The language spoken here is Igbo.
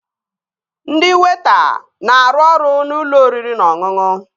Ndị weịta na-arụ ọrụ n'ụlọ oriri na ọṅụṅụ